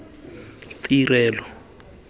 tirelo